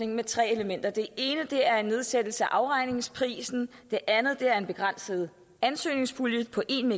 med tre elementer det ene er en nedsættelse af afregningsprisen det andet er en begrænset ansøgningspulje på en